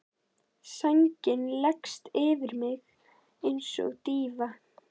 Sængin leggst yfir mig einsog dýfa.